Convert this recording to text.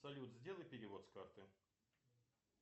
салют сделай перевод с карты